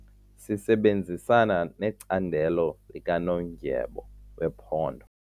Sisebenzisana necandelo likanondyebo wephondo.